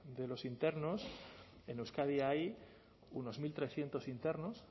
de los internos en euskadi hay unos mil trescientos internos